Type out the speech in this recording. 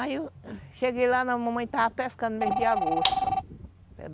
Aí eu cheguei lá na mamãe, estava pescando mesmo de agosto.